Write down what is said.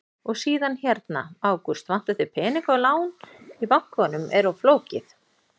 Og síðan hérna: Ágúst, vantar þig peninga og lán í bankanum er of flókið?